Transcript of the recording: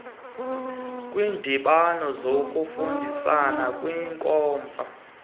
kwiindibano zokufundisana kwiinkomfa